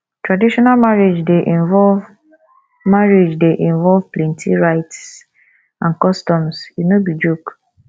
traditional marriage dey involve marriage dey involve plenty rites and customs e no be joke